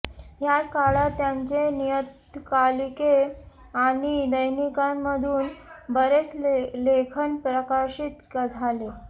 ह्याच काळात त्यांचे नियतकालिके आणि दैनिकांमधून बरेच लेखन प्रकाशित झाले